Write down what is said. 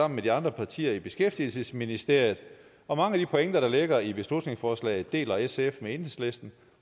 med de andre partier i beskæftigelsesministeriet og mange af de pointer der ligger i beslutningsforslaget deler sf med enhedslisten